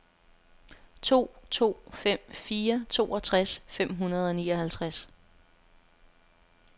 to to fem fire toogtres fem hundrede og nioghalvtreds